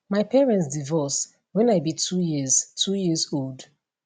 my parents divorce when i be 2 years 2 years old